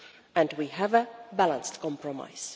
and we have a balanced compromise.